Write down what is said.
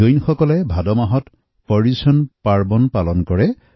জৈন সমাজত ভাদ মাহত পৰ্যুষণ পৰব পালন কৰা হয়